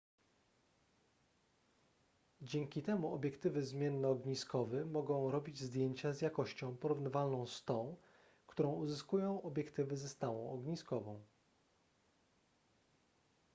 dzięki temu obiektywy zmiennoogniskowy mogą robić zdjęcia z jakością porównywalną z tą którą uzyskują obiektywy ze stałą ogniskową